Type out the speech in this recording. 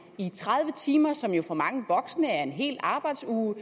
i tredive timer som jo for mange voksne er en hel arbejdsuge og